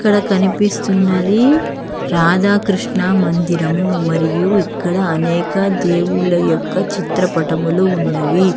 ఇక్కడ కనిపిస్తున్నది రాధాకృష్ణ మందిరము మరియు ఇక్కడ అనేక దేవుళ్ళ యొక్క చిత్రపటములు ఉన్నవి.